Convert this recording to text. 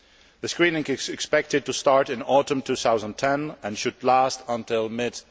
That screening is expected to start in autumn 2010 and should last until mid